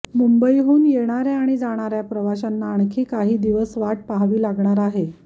मुंबईहून येणाऱ्या आणि जाणाऱ्या प्रवाशांना आणखी काही दिवस वाट पाहावी लागणार आहे